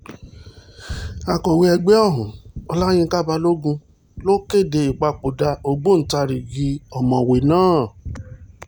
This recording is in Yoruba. akọ̀wé ẹgbẹ́ ọ̀hún ọláyinka balogun ló kéde ìpapòdà ògbóǹtarigi ọ̀mọ̀wéé náà